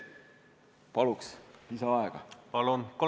Palun lisaaega!